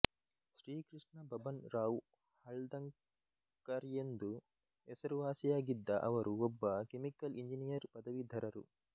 ಶ್ರೀಕೃಷ್ಣ ಬಬನ್ ರಾವ್ ಹಳ್ದಂಕರ್ಎಂದು ಹೆಸರುವಾಸಿಯಾಗಿದ್ದ ಅವರು ಒಬ್ಬ ಕೆಮಿಕಲ್ ಇಂಜಿನಿಯರ್ ಪದವೀಧರರು